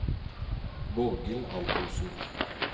Borghild Antonsen